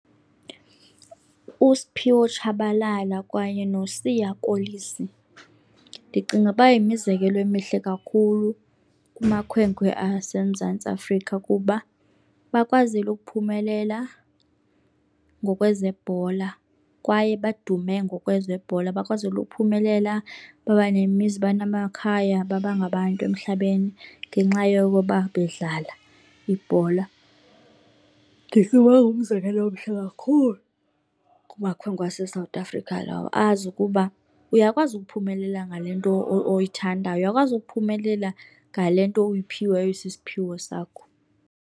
USphiwo Tshabalala kwaye noSiya Kolisi ndicinga uba yimizekelo emihle kakhulu kumakhwenkwe aseMzantsi Afrika kuba bakwazile ukuphumelela ngokwezebhola kwaye badume ngokwezebhola. Bakwazile uphumelela baba nemizi baba namakhaya, baba ngabantu emhlabeni ngenxa yokuba bedlala ibhola. Ndicinga ukuba ngumzekelo omhle kakhulu kumakhwenkwe aseSouth Africa lowo, azi ukuba uyakwazi ukuphumelela ngale nto oyithandayo uyakwazi ukuphumelela ngale nto uyiphiweyo isisiphiwo sakho.